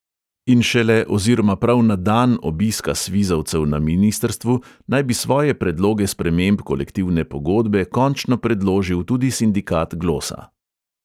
"In šele oziroma prav na dan obiska svizovcev na ministrstvu naj bi svoje predloge sprememb kolektivne pogodbe končno predložil tudi sindikat glosa."